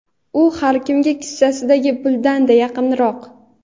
u har kimga kissasidagi pulidan-da yaqinroq.